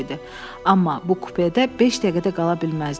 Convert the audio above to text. Amma bu kupedə beş dəqiqə də qala bilməzdim.